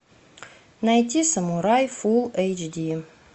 найти самурай фулл эйч ди